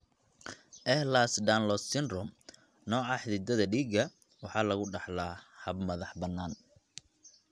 Ehlers Danlos Syndrome (EDS), nooca xididdada dhiigga waxa lagu dhaxlaa hab madax-bannaan.